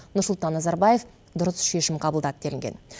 нұрсұлтан назарбаев дұрыс шешім қабылдады делінген